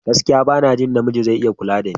Gaskiya! Bana jin namiji zai iya kula dani.